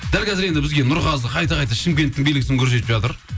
дәл қазір енді бізге нұрғазы қайта қайта шымкенттің белгісін көрсетіп жатыр